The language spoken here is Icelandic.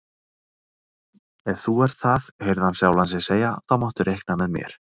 Ef þú ert það heyrði hann sjálfan sig segja, þá máttu reikna með mér